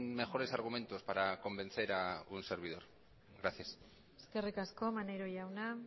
mejores argumentos para convencer a un servidor gracias eskerrik asko maneiro jauna